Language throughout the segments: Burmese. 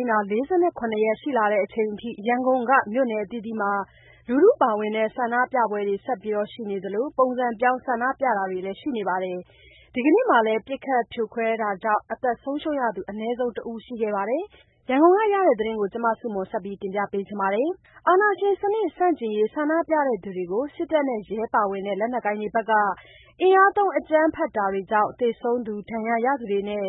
မ်းတာ ၄၇ ရက် ရှိလာချိန်အထိ ရန်ကုန်က မြို့နယ်အသီးသီးမှာ လူထုပါဝင်တဲ့ ဆန္ဒပြပွဲတွေဆက်ရှိနေသလို ပုံစံပြောင်း ဆန္ဒပြတာတွေလည်း ရှိနေပါတယ်။ ဒီကနေ့မှာလည်း ပစ်ခတ် ဖြိုခွဲတာကြာင့် အသက်ဆုံးရှုံးရသူ အနည်းဆုံးတစ်ဦး ရှိခဲ့ပါတယ်။ ရန်ကုန်ကရတဲ့သတင်းကို မဆုမွန်က တင်ပြထားပါတယ်။ အာဏာရှင်စနစ် ဆန့်ကျင်ရေး ဆန္ဒပြသူတွေကို စစ်တပ်နဲ့ ရဲပါဝင်တဲ့ လက်နက်ကိုင်တွေဘက်က အင်အားသုံး အကြမ်းဖက်တာတွေကြောင့် သေဆုံးသူ၊ ဒဏ်ရာရသူတွေနဲ့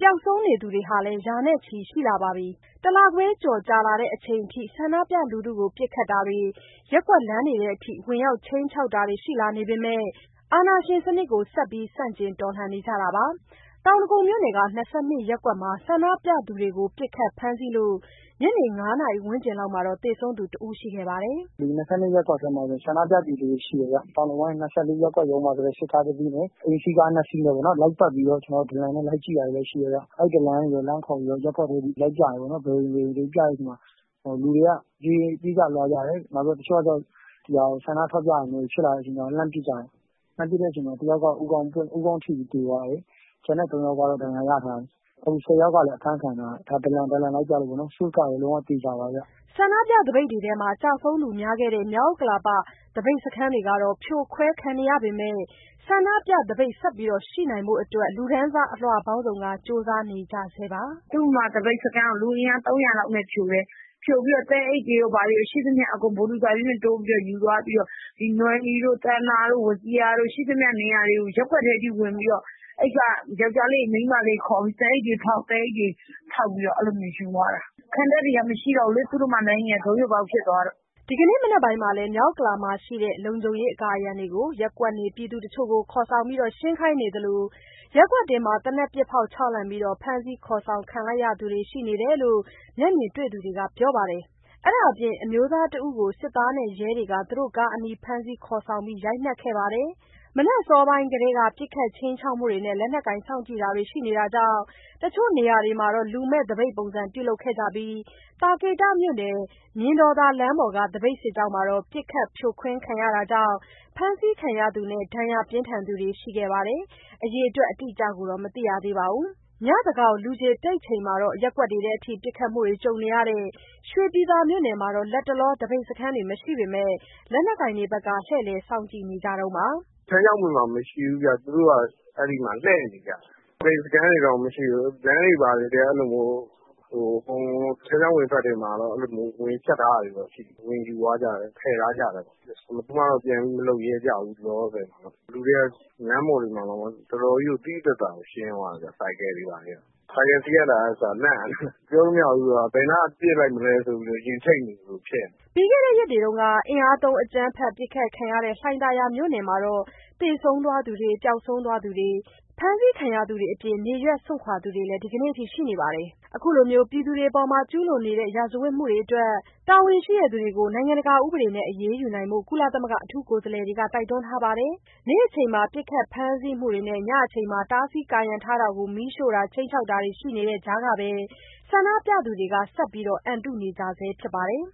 ပျောက်ဆုံးနေသူတွေလည်း ရာနဲ့ချီရှိလာပါ ပြီ။ တလခွဲကျော်ကြာလာချိန်အထိ ဆန္ဒပြလူထုကို ပစ်ခတ်တာတွေ၊ ရပ်ကွက်လမ်းတွေထဲထိ ဝင်ရောက် ခြိမ်းခြောက်တာတွေ ရှိလာနေပေမဲ့ အာဏာရှင်စနစ်ကို ဆက်ပြီး ဆန့်ကျင် တော်လှန်နေကြတာပါ။ တောင်ဒဂုံမြို့နယ်က ၂၂ ရပ်ကွက်မှာ ဆန္ဒပြသူတွေကို ပစ်ခတ်ဖမ်းဆီးလို့ ညနေ ၅ နာရီဝန်းကျင်မှာ သေဆုံးသူတဦးရှိခဲ့ပါတယ်။ "ဒီ ၂၂ ရပ်ကွက်ထဲမှာ ဆန္ဒပြသူတွေရှိတယ်ဗျ။ တောင်ဒဂုံ ၂၄ ရပ်ကွက်ကနေ စစ်ကားတစီးနဲ့ အိမ်စီးကား၂ စီးနဲ့ လိုက်ပတ်ပြီးတော့ ဒလံနဲ့ လိုက်ကြည့်တာတွေရှိတယ်ဗျ။ အဲဒီ ဒလံကနေလှမ်းခေါ်ပြီးတော့ ရပ်ကွက်တွေထဲ ဘယ်အိမ်တွေဆိုပြီး လိုက်ပြတဲ့အချိန်မှာ လူတွေက ပြေးကြလွှားကြတယ်။ တချို့ကကျတော့ ဆန္ဒပြတာမျိုးတွေ ဖြစ်လာတဲ့အချိန်မှာ လှမ်းပစ်ကြတယ်။ လှမ်းပစ်တဲ့အချိန်မှာ တယောက် ကတော့ ဦးခေါင်းထိပြီး သေသွားတယ်။ ကျန်တဲ့ ၃ယောက်ကတော့ ဒဏ်ရာရသွားတယ်။ ၁၀ ယောက်က လည်း အဖမ်းခံရတယ်။ ဒါ ဒလံလိုက်ပြလို့ပေါ့နော်။ Source ကလည်း လုံးဝသေချာပါတယ်။" ဆန္ဒပြသပိတ်တွေထဲ ကျဆုံးသူများခဲ့တဲ့ မြောက်ဥက္ကလာ သပိတ်စခန်းတွေကတော့ ဖြိုခွဲခံနေရပေမဲ့ ဆန္ဒပြသပိတ်ဆက်ရှိနိုင်ဖို့အတွက် လူတန်းစားအလွှာပေါင်းစုံက ကြိုးပမ်းနေကြဆဲပါ။ "သုဓမ္မာသပိတ်စခန်းကို လူအင်အား ၃၀၀ လောက်နဲ့ ဖြိုတယ်။ ဖြိုပြီးတော့ သဲအိတ်တွေရော ဘာတွေရော... ရှိသမျှအကုန် ဘူဒိုဇာကြီးနဲ့ထိုးယူသွားပြီးတော့ နွယ်နီတို့၊ သန္တာတို့၊ ဝဇီရာတို့... ရှိသမျှနေရာတွေကို ရပ်ကွက်တွေအထိဝင်ပြီးတော့ အဲဒီက ယောကျ်ားလေးတွေ၊ မိန်းမလေးတွေ ခေါ်ပြီး သဲအိတ်တွေဖောက်ပြီးတော့ ယူသွားတာ။ ခံတပ်တွေက မရှိတော့ဘူးလေ။ သုဓမ္မာလမ်းကြီးက ဒိုးယိုပေါက်ဖြစ်သွားတော့...။" ဒီကနေ့ မနက်ပိုင်းမှာလည်း မြောက်ဥက္ကလာမှာရှိတဲ့ လုံခြုံရေးအကာအရံတွေကို ရပ်ကွက်နေပြည်သူတချို့ ကို ခေါ်ဆောင်ပြီး ရှင်းခိုင်းသလို ရပ်ကွက်တွင်း သေနတ်ပစ်ဖောက် ခြောက်လှန့်ပြီး ဖမ်းဆီးခေါ်ဆောင်ခံလိုက်ရသူတွေ ရှိတယ်လို့ မျက်မြင်တွေ့သူတွေက ပြောပါတယ်။ အဲဒါအပြင် အမျိုးသားတဦးကို စစ်သားနဲ့ရဲတွေက သူတို့ကားအနီး ဖမ်းဆီးခေါ်ဆောင်ပြီး ရိုက်နှက်ခဲ့ပါတယ်။ မနက်အစောပိုင်းကတည်းက ပစ်ခတ်ခြိမ်းခြောက်မှုတွေနဲ့ လက်နက်ကိုင်စောင့်ကြည့်တာတွေ ရှိနေတာကြောင့် တချို့နေရာတွေမှာတော့ လူမဲ့သပိတ်ပုံစံ ပြုလုပ်တာတွေ ရှိနေပြီး သာကေတမြို့နယ် မြင်တော်သာလမ်းပေါ်က သပိတ်စစ်ကြောင်းမှာတော့ ပစ်ခတ်ဖြိုခွဲခံခဲ့ရတာကြောင့် ဖမ်းဆီးခံရသူနဲ့ ဒဏ်ရာပြင်းထန်သူတွေလည်း ရှိခဲ့ပါတယ်။ အအေတွက်အတိအကျကိုတော့ မသိရသေးပါဘူး။ ညသန်းခေါင် လူခြေတိတ်ချိန်မှာ ရပ်ကွက်တွေထဲထိ ပစ်ခတ်မှုတွေ ကြုံနေရတဲ့ ရွှေပြည်သာမြို့နယ်မှာတော့ လတ်တလောမှာ သပိတ်စခန်းတွေ မရှိပေမဲ့ လက်နက်ကိုင်တွေဘက်ကတော့ လှည့်လည်စောင့်ကြည့်နေ တုန်းပါ။ "ထန်းခြောက်ပင်မှာ မရှိဘူးဗျ။ သူတို့က အဲဒီမှာလှည့်နေကြတာ။ သပိတ်စခန်းတွေတော့ မရှိဘူး။ လမ်းတွေဘာတွေထဲ ထန်းခြောက်ပင်ဘက်မှာတော့ ကာရံထားတာတွေကိုတော့ ဝင်ယူသွားကြတယ်၊ ဖျက်သွားကြတယ်။ ဘယ်သူမှတော့ ပြန်ပြီးမလုပ်ရဲကြဘူး၊ အခုလောလောဆယ်တော့။ လူတွေက လမ်းပေါ်တွေမှာတောင်မှ တော်တော်ကြီးကို သိသိသာသာ ရှင်းသွားတာဗျ။ ဆိုင်ကယ်စီးရတာကအစ လန့်နေတယ်။ ပြောလို့မရဘူးဆိုတာက ဘယ်နားကပစ်လိုက်မလဲ ဆိုပြီးတော့ ရင်ထိတ်နေသလို ဖြစ်နေတယ်။" ပြီးခဲ့တဲ့ ရက်တွေတုန်းက အင်အားသုံး အကြမ်းဖက်ပစ်ခတ်ခံခဲ့ရတဲ့ လှိုင်သာယာမြို့နယ်မှာတော့ သေဆုံး သွားသူတွေ၊ ပျောက်ဆုံးသူနဲ့ ဖမ်းဆီးခံရသူတွေအပြင် နေရပ်စွန့်ခွာသွားသူတွေ ဒီကနေ့အထိ ရှိနေပါတယ်။ အခုလို ပြည်သူတွေအပေါ် ကျူးလွန်နေတဲ့ ရာဇဝတ်မှုတွေအတွက် တာဝန်ရှိသူတွေကို နိုင်ငံတကာဥပဒေတွေနဲ့အညီ အရေးယူဖို့ ကုလသမဂ္ဂ အထူးကိုယ်စားလှယ်တွေက တိုက်တွန်းထားပါတယ်။ နေ့အချိန်မှာ ပစ်ခတ်ဖမ်းဆီးမှုတွေနဲ့ ညအချိန်မှာ တားဆီးကာရံထားတာတွေကို မီးရှို့တာတွေ၊ ခြိမ်းခြောက် တာတွေ ရှိနေတဲ့ကြားကပဲ ဆန္ဒပြသူတွေက ဆက်ပြီး အန်တုနေကြဆဲဖြစ်ပါတယ်။